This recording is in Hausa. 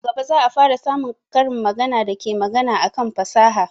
Nan gaba za a fara samun karin magana da ke magana akan fasaha